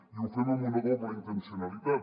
i ho fem amb una doble intencionalitat